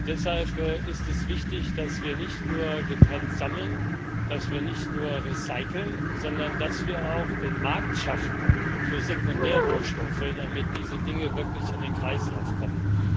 Deshalb ist es wichtig, dass wir nicht nur getrennt sammeln, dass wir nicht nur recyceln, sondern dass wir auch den Markt für Sekundärrohstoffe schaffen, damit diese Dinge wirklich in den Kreislauf kommen.